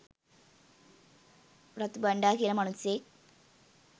රතු බණ්ඩා කියලා මනුස්සයෙක්.